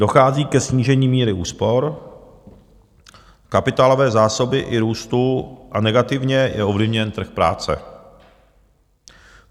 Dochází ke snížení míry úspor, kapitálové zásoby i růstu a negativně je ovlivněn trh práce.